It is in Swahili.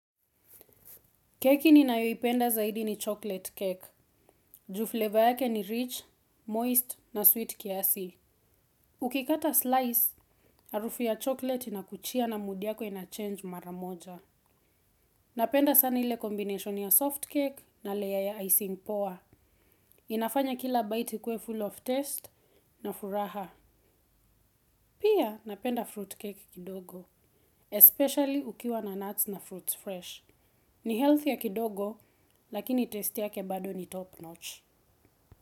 Keki ninayoipenda zaidi ni chocolate cake. Ju fleva yake ni rich, moist na sweet kiasi. Ukikata slice, harufu ya chocolate inakuchia na mood yako inachange maramoja. Napenda sana ile combination ya soft cake na layer ya icing poa. Inafanya kila bite ikuwe full of taste na furaha. Pia napenda fruit cake kidogo. Especially ukiwa na nuts na fruits fresh. Ni health ya kidogo, lakini taste yake bado ni top notch.